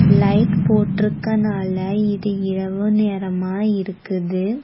Light போட்டிருக்கினால இது இரவு நேரமா இருக்குது.